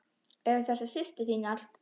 Eru þetta systur þínar?